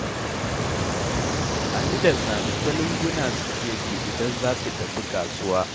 Ali da Sani ta lunguna suke bi idan za su tafi kasuwa.